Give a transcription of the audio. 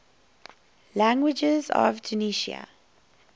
languages of tunisia